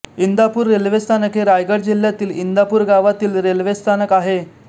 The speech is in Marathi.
इंदापूर रेल्वे स्थानक हे रायगड जिल्ह्यातील इंदापूर गावातील रेल्वे स्थानक आहे